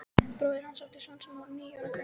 Bróðir hans átti son sem var nýorðinn fimm ára.